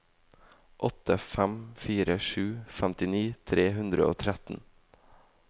åtte fem fire sju femtini tre hundre og tretten